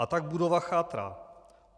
A tak budova chátrá.